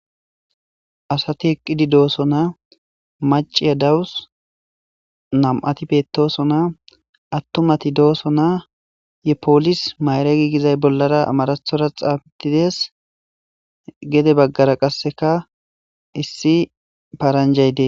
Asati eqidi dosona maciya dawusi namati betosona atumati dosona ye pilsi mayiregi gizayisa bolara xaafetidees gede bagara qasekka namu paranijayi deesi